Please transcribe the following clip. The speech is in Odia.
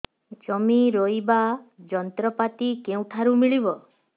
ଜମି ରୋଇବା ଯନ୍ତ୍ରପାତି କେଉଁଠାରୁ ମିଳିବ